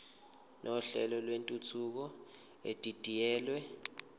nohlelo lwentuthuko edidiyelwe